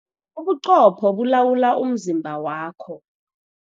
Ubuqopho bulawula umzimba wakho.